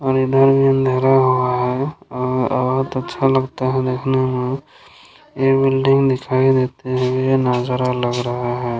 और इधर भी अँधेरा हुआ है और बहुत अच्छा लगता है देखने में| ये बिल्डिंग दिखाई देती है ये नजारा लग रहा है।